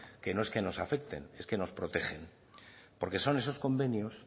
que no es que nos afecten es que nos protegen porque son esos convenios